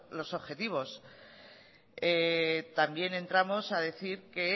los objetivos también entramos a decir que